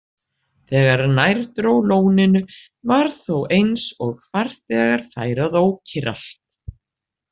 Þegar nær dró lóninu var þó eins og farþegar færu að ókyrrast.